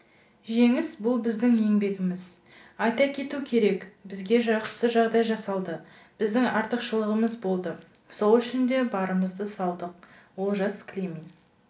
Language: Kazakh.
жеңіс бұл біздің еңбегіміз айта кету керек бізге жақсы жағдай жасалды біздің артықшылығымыз болды сол үшін де барымызды салдық олжас климин